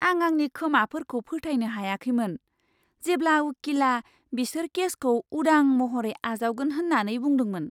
आं आंनि खोमाफोरखौ फोथायनो हायाखैमोन, जेब्ला उकिलआ बिसोर केसखौ उदां महरै आजावगोन होन्नानै बुंदोंमोन!